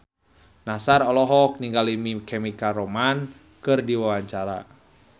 Nassar olohok ningali My Chemical Romance keur diwawancara